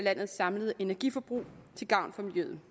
landets samlede energiforbrug til gavn for miljøet